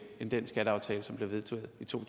end den skatteaftale som blev vedtaget i to